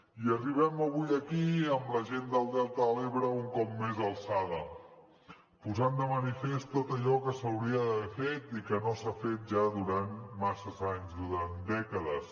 i arribem avui aquí amb la gent del delta de l’ebre un cop més alçada posant de manifest tot allò que s’hauria d’haver fet i que no s’ha fet ja durant masses anys durant dècades